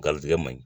Garijɛgɛ man ɲi